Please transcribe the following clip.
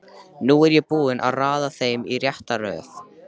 Nú er ég búinn að raða þeim í rétta röð.